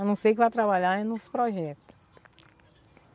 A não ser que vá trabalhar nos projeto.